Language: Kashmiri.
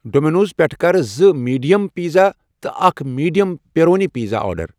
ڈومینوز پیٹھہٕ کر زٕ میڈیم پنیر تہٕ اکھ میڈیم پیپرونی پیزا آرڈر ۔